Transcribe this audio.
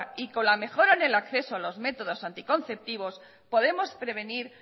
y con la mejora en el acceso a los métodos anticonceptivos podemos prevenir